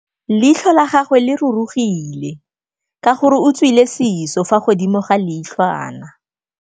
Leitlhô la gagwe le rurugile ka gore o tswile sisô fa godimo ga leitlhwana.